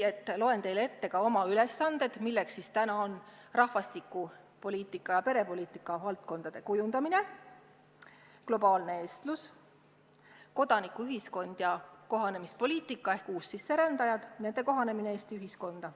Ma loen teile ette oma ülesanded, milleks on: rahvastikupoliitika ja perepoliitika valdkondade kujundamine; globaalne eestlus; kodanikuühiskond ja kohanemispoliitika ehk uussisserändajad, nende kohanemine Eesti ühiskonnas.